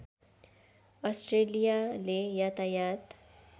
अस्ट्रेलियाले यातायात